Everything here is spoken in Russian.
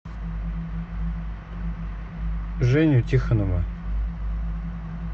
женю тихонова